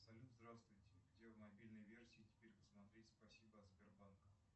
салют здравствуйте где в мобильной версии теперь посмотреть спасибо от сбербанка